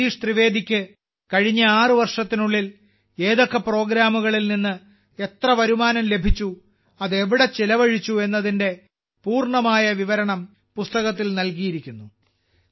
ജഗദീഷ് ത്രിവേദിക്ക് കഴിഞ്ഞ 6 വർഷത്തിനുള്ളിൽ ഏതൊക്കെ പ്രോഗ്രാമുകളിൽ നിന്ന് എത്ര വരുമാനം ലഭിച്ചു അത് എവിടെ ചെലവഴിച്ചു എന്നതിന്റെ പൂർണ്ണമായ വിവരണം പുസ്തകത്തിൽ നൽകിയിരിക്കുന്നു